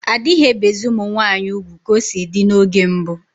Adighi ebezi ụmụ nwanyi ụgwụ ka o si di n’oge mbu